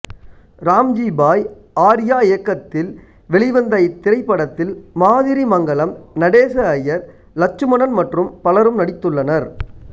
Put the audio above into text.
ராம்ஜி பாய் ஆர்யா இயக்கத்தில் வெளிவந்த இத்திரைப்படத்தில் மாதிரி மங்கலம் நடேச ஐயர் லட்சுமணன் மற்றும் பலரும் நடித்துள்ளனர்